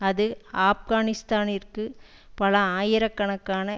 அது ஆப்கானிஸ்தானிற்கு பல ஆயிரக்கணக்கான